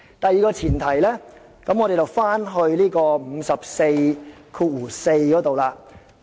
第二個前提，我們說回第544條。